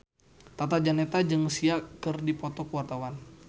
Tata Janeta jeung Sia keur dipoto ku wartawan